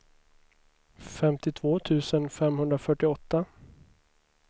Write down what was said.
femtiotvå tusen femhundrafyrtioåtta